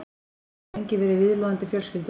Hann hafði lengi verið viðloðandi fjölskylduna.